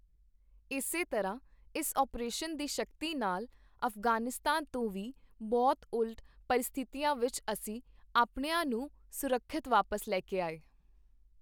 ਇਸੇ ਤਰ੍ਹਾਂ, ਇਸ ਅਪਰੇਸ਼ਨ ਦੀ ਸ਼ਕਤੀ ਨਾਲ, ਅਫ਼ਗ਼ਾਨਿਸਤਾਨ ਤੋਂ ਵੀ ਬਹੁਤ ਉਲਟ ਪਰਿਸਥਿਤੀਆਂ ਵਿੱਚ ਅਸੀਂ ਅਪਣਿਆਂ ਨੂੰ ਸੁਰੱਖਿਅਤ ਵਾਪਸ ਲੈ ਕੇ ਆਏ।